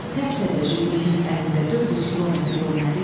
Təp-təzə Jiquley-nin əlində 400 kilometr yol nədir ki?